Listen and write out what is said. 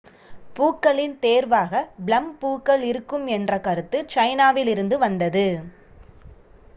பூக்களின் தேர்வாக ப்ளம் பூக்கள் இருக்கும் என்ற கருத்து சைனாவிலிருந்து வந்தது